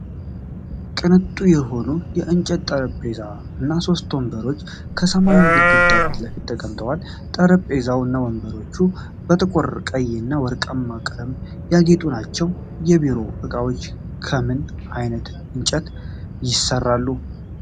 ቅንጡ የሆነ የእንጨት ጠረጴዛ እና ሶስት ወንበሮች ከሰማያዊ ግድግዳ ፊት ለፊት ተቀምጠዋል። ጠረጴዛው እና ወንበሮቹ በጥቁር ቀይ እና ወርቃማ ቀለም ያጌጡ ናቸው። የቢሮ እቃዎች ከምን ዓይነት እንጨት ይሰራሉ?